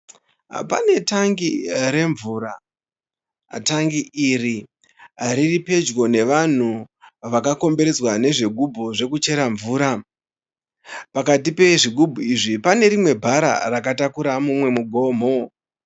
Pane tangi remvura. Tangi iri riripadyo nevanhu vakakomberedzwa nezvigumbu zvekuchera mvura. Pakati pezvigumbu izvi, pane rimwe bhara rakatakura mumwe mugomo.